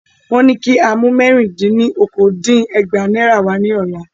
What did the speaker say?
Wọ́n ní kí á mu mẹ́rì-dín-ní- okòó dín ní ẹgbàá Náírà wa ní ọ̀la.